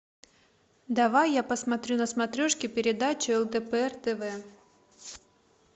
давай я посмотрю на смотрешке передачу лдпр тв